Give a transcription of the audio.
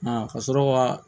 ka sɔrɔ ka